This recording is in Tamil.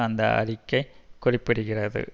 அந்த அறிக்கை குறிப்பிடுகிறது